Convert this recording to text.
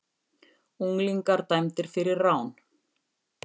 Unglingar dæmdir fyrir rán